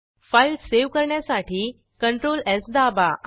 file save करण्यासाठी ctrls दाबा